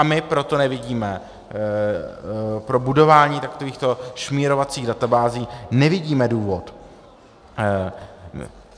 A my proto nevidíme pro budování takovýchto šmírovacích databází, nevidíme důvod.